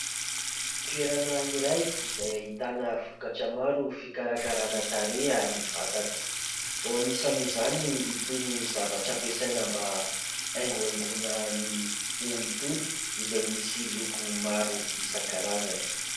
Toerana iray izay ahitana vokatra maro fikarakarana tarehy ary vatana. Anisan'izany itony zavatra ampiasaina mba hanaingohaingona ny hoho itony, izay misy loko maro isankarazany.